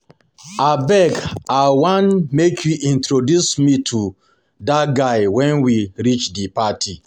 Abeg I wan make you introduce me to dat guy wen we reach the party